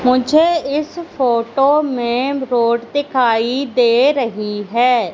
मुझे इस फोटो में रोड दिखाई दे रही है।